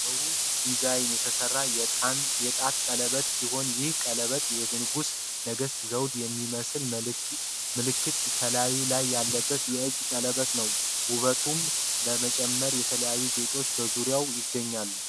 በውብ ዲዛይን የተሰራ የጣት ቀለበት ሲሆን ይህ ቀለበጥ የ ንጉሰ ነገስት ዘውድ እሚሚመስል ምልክት ከላዩ ላይ ያለበት የእጅ ቀለበት ነው ። ውበቱንም ለመጨመር የተለያዩ ጌጦች በዙርያው ይገኛሉ።